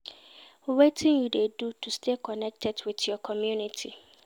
Wetin you dey do to stay connected with your community?